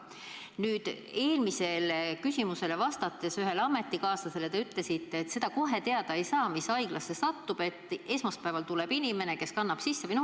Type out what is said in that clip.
Nüüd, ennist ühele ametikaaslasele vastates te ütlesite, et seda kohe teada ei saa, mis haiglasse on inimene sattunud, ja et alles esmaspäeval tuleb inimene, kes kannab andmed sisse.